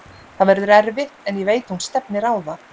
Það verður erfitt en ég veit hún stefnir á það.